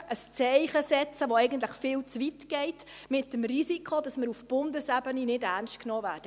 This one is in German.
Setzen wir ein Zeichen, das eigentlich viel zu weit geht, mit dem Risiko, dass wir auf Bundesebene nicht ernst genommen werden?